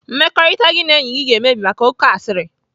Mmekọrịta gị na enyi gị ga-emebi maka oké asịrị.